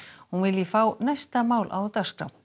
hún vilji fá næsta mál á dagskrá